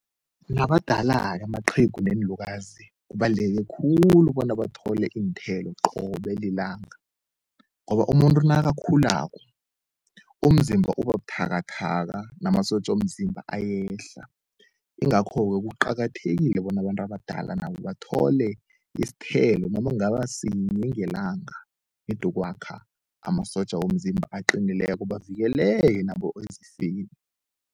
Nabadala-ke amaqhegu neenlukazi kubaluleke khulu bona bathole iinthelo qobe lilanga, ngoba umuntu nakakhulako umzimba ubabuthakathaka namasotja womzimba ayehla. Ingakho-ke kuqakathekile bona abantu abadala nabo bathole isithelo noma kungaba sinye ngelanga, nedi ukwakha amasotja womzimba aqinileko bavikeleke nabo ezifeni.